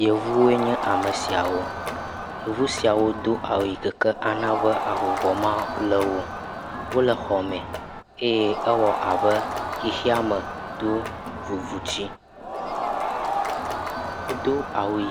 Yevuwoe nye ame siawo. Yevu siawo do awu yi ke ke ana be avuvɔ malé wo o. wole xɔme eye ewɔ abe xexeame do vuvutsi. Wodo awu yi…